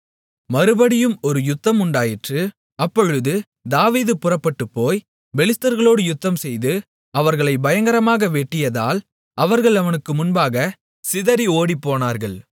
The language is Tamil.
மறுபடியும் ஒரு யுத்தம் உண்டாயிற்று அப்பொழுது தாவீது புறப்பட்டுப் போய் பெலிஸ்தர்களோடு யுத்தம்செய்து அவர்களை பயங்கரமாக வெட்டியதால் அவர்கள் அவனுக்கு முன்பாக சிதறி ஓடிப்போனார்கள்